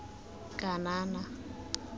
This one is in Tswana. kanana